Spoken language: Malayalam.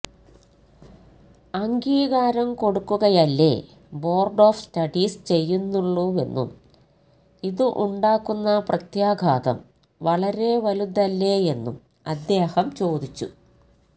അംഗീകാരം കൊടുക്കുകയല്ലേ ബോര്ഡ് ഓഫ് സ്റ്റഡീസ് ചെയ്യുന്നുള്ളുവെന്നും ഇത് ഉണ്ടാക്കുന്ന പ്രത്യാഘാതം വളരെ വലുതല്ലേയെന്നും അദ്ദേഹം ചോദിച്ചു